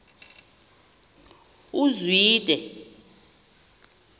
uzwide